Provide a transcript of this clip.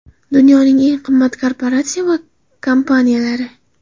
Dunyoning eng qimmat korporatsiya va kompaniyalari.